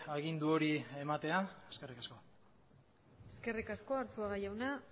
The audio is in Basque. agindu hori ematea eskerrik asko eskerrik asko arzuaga jauna